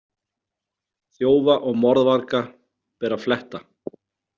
Þjófa og morðvarga ber að fletta.